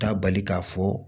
Taa bali k'a fɔ